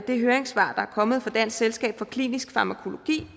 de høringssvar der er kommet fra dansk selskab for klinisk farmakologi